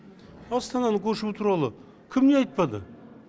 астананы көшу туралы кім не айтпады